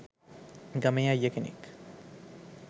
ගමේ අයිය කෙනෙක්.